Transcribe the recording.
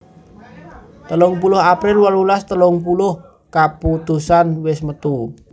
telung puluh april wolulas telung puluh kaputusan wis metu